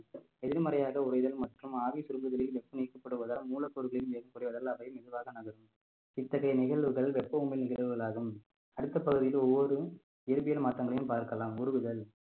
எதிர்மறையாக உரைதல் மற்றும் ஆவி சுருங்குதலில் வெப்பம் நீக்கப்படுவதால் மூலப்பொருள்களில் ஏறக்குறைய அளவு அவை மெதுவாக நகரும் இத்தகைய நிகழ்வுகள் வெப்பம் உமிழ் நிகழ்வுகள் ஆகும் அடுத்த பகுதியில் ஒவ்வொரு இயற்பியல் மாற்றங்களையும் பார்க்கலாம் உருகுதல்